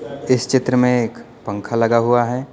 इस चित्र में एक पंखा लगा हुआ है।